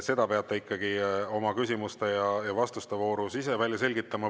Seda peate ikkagi oma küsimuste ja vastuste voorus ise välja selgitama.